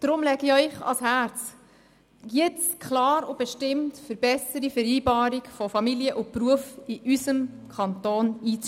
Ich lege Ihnen ans Herz, klar und bestimmt für eine bes- sere Vereinbarung von Familie und Beruf in unserem Kanton einzustehen.